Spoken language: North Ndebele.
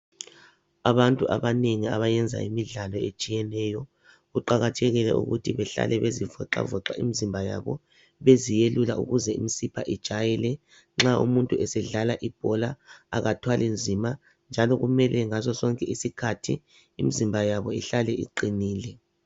Abantu abanengi abayenza imidlalo etshiyeneyo; kuqakathekile ukuthi behlale bezivoxavoxa imizimba yabo beziyelula ukuze imisipha ijayele nxa umuntu esedlala ibhola akathwalinzima njalo kumele njalo ngaso sonke isikhathi imizimba yabi ihlale iqinile.